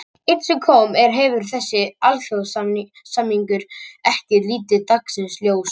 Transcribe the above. Enn sem komið er hefur þessi alþjóðasamningur ekki litið dagsins ljós.